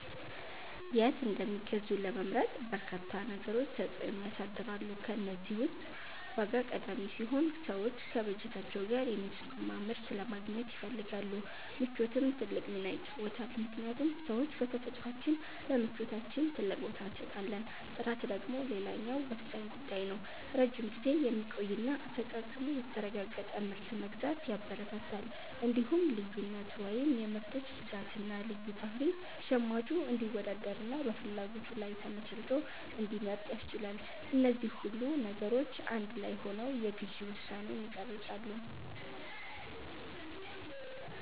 የት እንደሚገዙ ለመምረጥ በርካታ ነገሮች ተጽዕኖ ያሳድራሉ። ከእነዚህ ውስጥ ዋጋ ቀዳሚው ሲሆን፣ ሰዎች ከበጀታቸው ጋር የሚስማማ ምርት ለማግኘት ይፈልጋሉ። ምቾትም ትልቅ ሚና ይጫወታልምክንያቱም ሰዎች በተፈጥሯችን ለምቾታችን ትልቅ ቦታ እንሰጣለን። ጥራት ደግሞ ሌላው ወሳኝ ጉዳይ ነው፤ ረጅም ጊዜ የሚቆይና አፈጻጸሙ የተረጋገጠ ምርት መግዛት ያበረታታል። እንዲሁም ልዩነት (የምርቶች ብዛትና ልዩ ባህሪ) ሸማቹ እንዲወዳደርና በፍላጎቱ ላይ ተመስርቶ እንዲመርጥ ያስችላል። እነዚህ ሁሉ ነገሮች አንድ ላይ ሆነው የግዢ ውሳኔን ይቀርጻሉ።